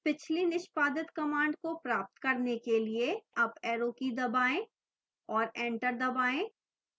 पिछली निष्पादित command को प्राप्त करने के लिए अप arrow की दबाएं और enter दबाएं